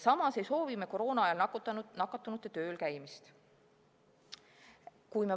Samas ei soovi me koroona ajal nakatunute töölkäimist.